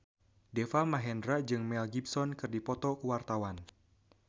Deva Mahendra jeung Mel Gibson keur dipoto ku wartawan